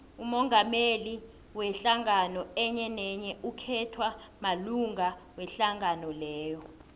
umongameli wehlangano enyenenye ukhethwa malunga wehlangano leyo